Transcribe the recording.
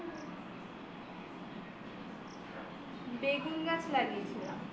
বেগুন গাছ লাগিয়েছিলাম